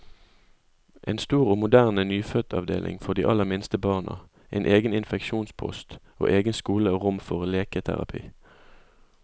En stor og moderne nyfødtavdeling for de aller minste barna, en egen infeksjonspost, og egen skole og rom for leketerapi.